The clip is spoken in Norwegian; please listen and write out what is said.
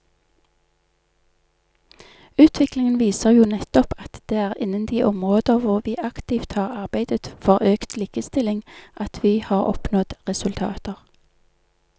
Utviklingen viser jo nettopp at det er innen de områder hvor vi aktivt har arbeidet for økt likestilling at vi har oppnådd resultater.